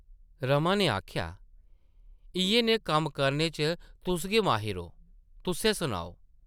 रमा नै आखेआ ,‘‘ इʼयै नेह् कम्म करने च तुस गै माहिर ओ, तुस्सै सनाओ ।’’